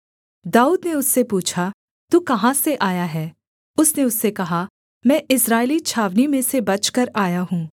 दाऊद ने उससे पूछा तू कहाँ से आया है उसने उससे कहा मैं इस्राएली छावनी में से बचकर आया हूँ